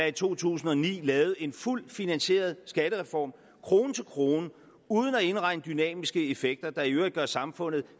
i to tusind og ni lavet en fuldt finansieret skattereform krone til krone uden at indregne dynamiske effekter der i øvrigt gør samfundet